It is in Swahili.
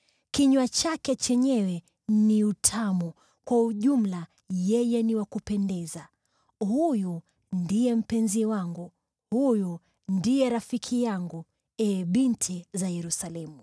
Kinywa chake chenyewe ni utamu, kwa ujumla yeye ni wa kupendeza. Huyu ndiye mpenzi wangu, huyu ndiye rafiki yangu, ee binti za Yerusalemu.